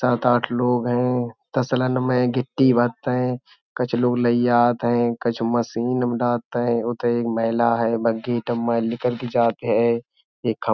सात आठ लोग हैं। तसलन में गिट्टी भरतै । कछु लोग लै जात हैं। कछु मशीन में डालत हैं। उतै एक मैला है। निकल कै जात हैं। एक खप --